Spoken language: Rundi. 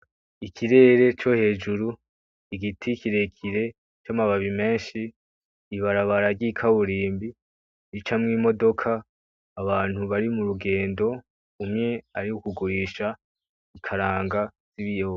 Ikirere co hejuru, Igiti kirekire c’amababi meshi, ibarabara ry'ikaburimbi ricamwo imodoka, Abantu bari murugendo umwe arikugurisha ikaranga n'ibiyoba